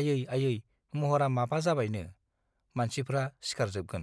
आयौ आयै महरा माबा जाबायननि मानसिफ्रा सिखारजोबगोन